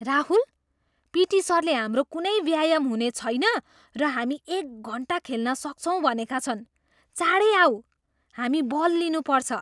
Rahul! P T सरले हाम्रो कुनै व्यायाम हुने छैन र हामी एक घन्टा खेल्न सक्छौँ भनेका छन्! चाँडै आऊ, हामी बल लिनुपर्छ!